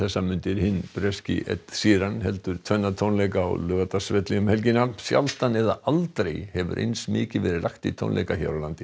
hinn breski Ed heldur tvenna tónleika á Laugardalsvelli um helgina sjaldan eða aldrei hefur eins mikið verið lagt í tónleika hér á landi